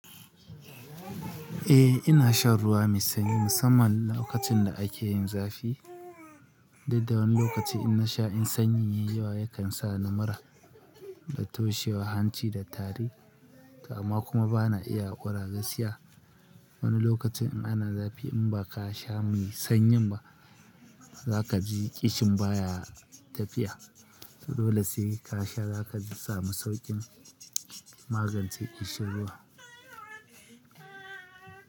Eh ina shan ruwa mai sanyi musamman lokacin da ake yin zafi. Saida wani lokaci in nasha in sanyi yayi yawa yakan sa ni mura da toshewar hanci da tari. Kuma bana iya ƙura gaskiya. Wani lokacin in ana zafi in ba ka sha mai sanyi ba za kaji ƙishin baya tafiya. Dole sai ka sha za ka samu sauƙin magance ƙishin ruwa.